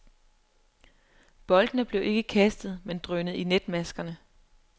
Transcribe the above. Boldene blev ikke kastet, men drønet i netmaskerne.